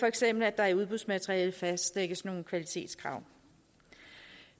eksempel at der i udbudsmaterialet fastlægges nogle kvalitetskrav